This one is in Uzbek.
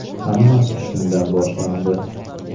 Hammasi shundan boshlandi.